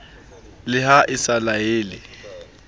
le ha e sa laele